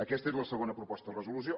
aquesta és la segona proposta de resolució